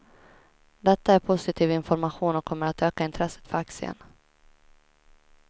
Detta är positiv information och kommer att öka intresset för aktien.